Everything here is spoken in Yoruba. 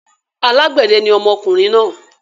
Alágbẹ̀dẹ ni ọmọkùnrin náà.